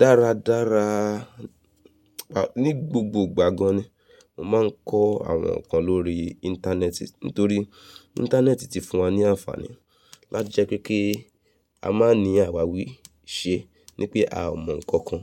Dáradára, ní gbogbo ìgbà gan ni mo máa ń kọ àwọn nǹkan lórí Íńtánẹ́ẹ̀tì. Nítorí Íńtánẹ́ẹ̀tì ti fún wa ní àǹfààní láti jẹ́ kí a máa ní àwàwí ìṣe ní pé a ò mọ ǹkan kan